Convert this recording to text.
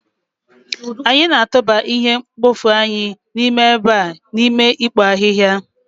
anyị na-atụba ihe mkpofu anyị n'ime ebe a n'ime ikpo ahihia